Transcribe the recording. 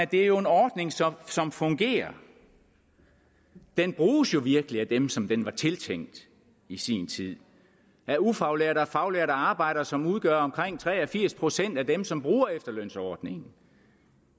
det er en ordning som som fungerer den bruges jo virkelig af dem som den var tiltænkt i sin tid af ufaglærte og faglærte arbejdere som udgør tre og firs procent af dem som bruger efterlønsordningen